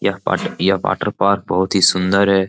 यह water park बहुत ही सुंदर है।